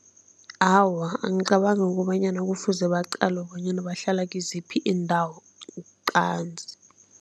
Awa, angicabangi ukobanyana kufuze baqalwe bonyana bahlala kiziphi iindawo qanzi.